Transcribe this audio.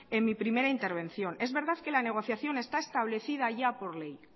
en mi primera intervención es verdad que la negociación está establecida ya por ley